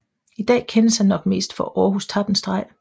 I dag kendes ham nok mest for Århus Tappenstreg